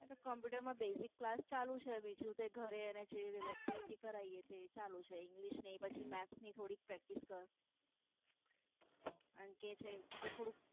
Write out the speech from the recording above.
આતો Computer માં Basic ચાલુ છે. બીજું તો ઘરે જે Activity કરાઇયે તે ચાલુ છે. English ની પછી Maths ની થોડીક Practice કર